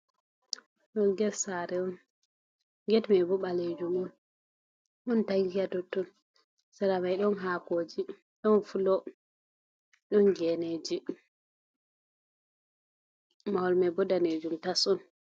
Ɗum get sare on, get mai bo ɓalejum on ɗon tanki hatotton, sare mai bo ɗon hakoji ɗon fulo, ɗon geneji mahol mai bo danejum tas on.